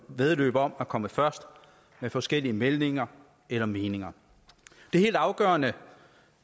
væddeløb om at komme først med forskellige meldinger eller meninger det er helt afgørende